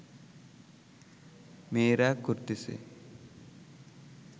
মেয়েরা করতেছে